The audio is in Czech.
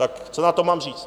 Tak co na to mám říct?